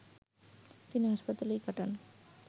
তিনি হাসপাতালেই কাটান